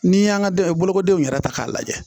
N'i y'an ka bolokodenw yɛrɛ ta k'a lajɛ